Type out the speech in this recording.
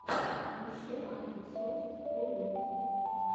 поищи аирсофтфорю